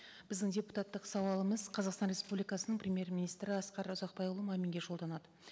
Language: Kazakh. біздің депутаттық сауалымыз қазақстан республикасының премьер министрі асқар ұзақбайұлы маминге жолданады